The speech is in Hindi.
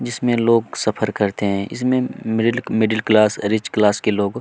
-- जिसमें लोग सफर करते हैं इसमें middle middle class rich class के लोग--